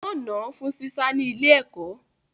Wọ́n nà án fún sísá ní ilé-ẹ̀kọ́